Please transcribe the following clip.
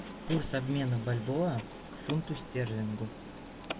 курс обмена бальбоа к фунту стерлингу